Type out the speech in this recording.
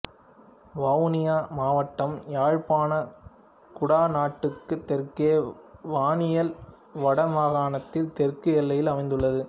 வவுனியா மாவட்டம் யாழ்ப்பாணக் குடாநாட்டுக்குத் தெற்கே வன்னியில் வடமாகாணத்தின் தெற்கு எல்லையில் அமைந்துள்ளது